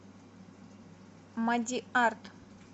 мадиарт